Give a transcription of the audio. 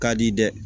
Ka di dɛ